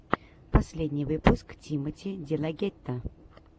последний выпуск тимоти делагетто